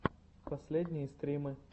последние стримы